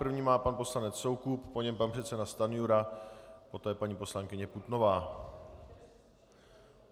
První má pan poslanec Soukup, po něm pan předseda Stanjura, poté paní poslankyně Putnová.